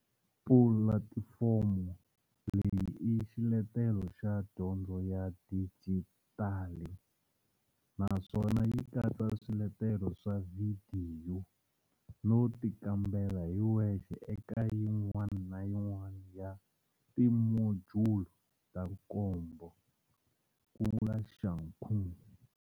Pulatifomo leyi i xiletelo xa dyondzo xa dijitali naswona yi katsa swiletelo swa vhidiyo no tikambela hi wexe eka yin'wana na yin'wana ya timojulu ta nkombo, ku vula Shakung.